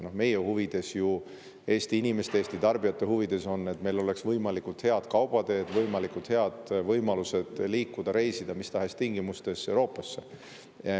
Meie huvides, Eesti inimeste, Eesti tarbijate huvides on, et meil oleks võimalikult head kaubateed, võimalikult head võimalused liikuda, reisida mis tahes tingimustes Euroopasse.